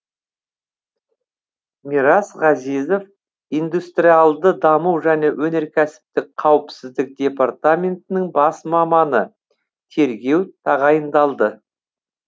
мирас ғазизов индустриалды даму және өнеркәсіптік қауіпсіздік департаментінің бас маманы тергеу тағайындалды